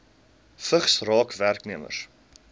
vigs raak werknemers